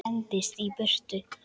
Hendist í burtu.